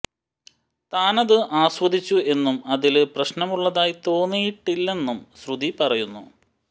താനത് ആസ്വദിച്ചു എന്നും അതില് പ്രശ്നമുള്ളതായി തോന്നിയിട്ടില്ലെന്നും ശ്രുതി പറയുന്നു